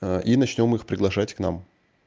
и начнём их приглашать к нам